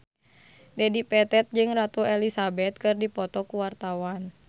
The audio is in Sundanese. Dedi Petet jeung Ratu Elizabeth keur dipoto ku wartawan